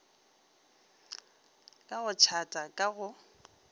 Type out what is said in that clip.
ka go tšhata ka go